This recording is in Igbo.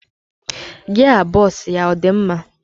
Gia bos ya ọ dị mma?